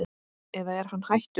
eða er hann hættur?